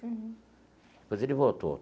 Uhum. Depois ele voltou.